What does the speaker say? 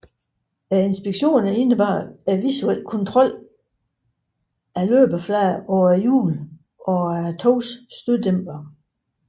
Inspektionerne indebar visuel kontrol af løbeflader på hjulene og af togets støddæmpere